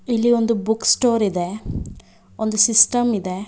ಇಲ್ಲಿ ಒಂದು book store ಇದೆ ಒಂದು ಸಿಸ್ಟಮ್ ಇದೆ.